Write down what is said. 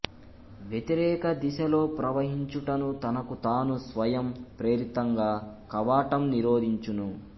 వ్యతిరేకదిశలో ప్రవహించుటను తనకు తాను స్వయం ప్రేరితంగా కవాటం నిరోధించును